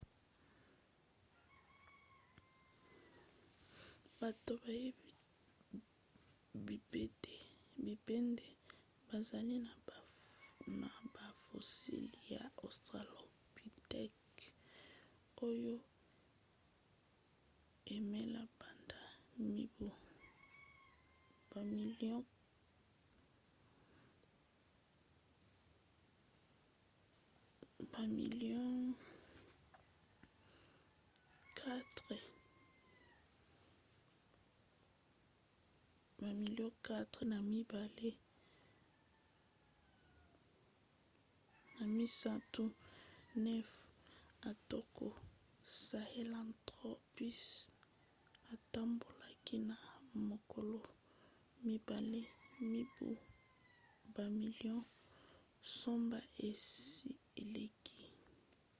bato bayebi bipèdes bazali na bafossiles ya australopithecus oyo eumela banda mibu bamilio 4,2-3,9 atako sahelanthropus atambolaki na makolo mibale mibu bamilio nsambo esi eleki